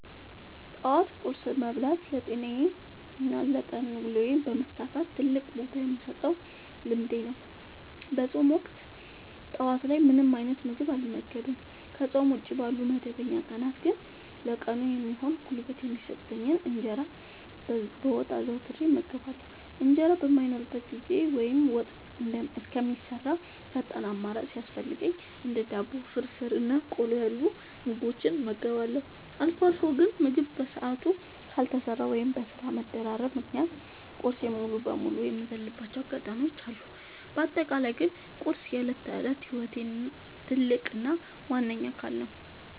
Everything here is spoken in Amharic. ጠዋት ቁርስ መብላት ለጤናዬና ለቀን ውሎዬ መሳካት ትልቅ ቦታ የምሰጠው ልምዴ ነው። በፆም ወቅት ጠዋት ላይ ምንም አይነት ምግብ አልመገብም። ከፆም ውጪ ባሉ መደበኛ ቀናት ግን ለቀኑ የሚሆን ጉልበት የሚሰጠኝን እንጀራ በወጥ አዘውትሬ እመገባለሁ። እንጀራ በማይኖርበት ጊዜ ወይም ወጥ እስከሚሰራ ፈጣን አማራጭ ሲያስፈልገኝ እንደ ዳቦ፣ ፍርፍር እና ቆሎ ያሉ ምግቦችን እመገባለሁ። አልፎ አልፎ ግን ምግብ በሰዓቱ ካልተሰራ ወይም በስራ መደራረብ ምክንያት ቁርሴን ሙሉ በሙሉ የምዘልባቸው አጋጣሚዎች አሉ። በአጠቃላይ ግን ቁርስ የዕለት ተዕለት ህይወቴ ትልቅ እና ዋነኛ አካል ነው።